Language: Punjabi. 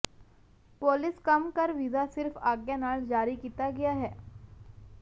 ਪੋਲਿਸ਼ ਕੰਮ ਕਰ ਵੀਜ਼ਾ ਸਿਰਫ ਆਗਿਆ ਨਾਲ ਜਾਰੀ ਕੀਤਾ ਗਿਆ ਹੈ